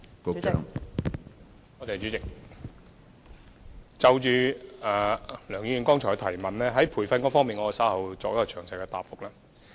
關於梁議員剛才的提問，在培訓方面，我稍後會作出詳細答覆。